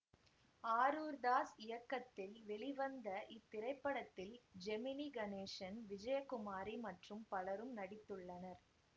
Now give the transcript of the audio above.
ஆரூர்தாஸ் இயக்கத்தில் வெளிவந்த இத்திரைப்படத்தில் ஜெமினி கணேசன் விஜயகுமாரி மற்றும் பலரும் நடித்துள்ளனர்